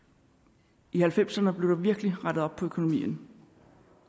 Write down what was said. i nitten halvfemserne blev der virkelig rettet op på økonomien